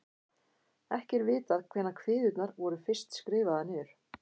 Ekki er vitað hvenær kviðurnar voru fyrst skrifaðar niður.